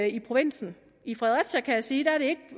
ikke i provinsen i fredericia kan jeg sige er det